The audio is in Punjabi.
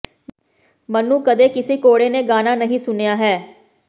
ਮੈਨੂੰ ਕਦੇ ਕਿਸੇ ਘੋੜੇ ਨੇ ਗਾਣਾ ਨਹੀਂ ਸੁਣਿਆ ਹੈ